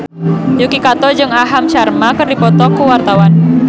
Yuki Kato jeung Aham Sharma keur dipoto ku wartawan